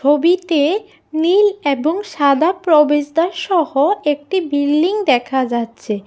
ছবিতে নীল এবং সাদা প্রবেশদ্বার সহ একটি বিল্ডিং দেখা যাচ্ছে।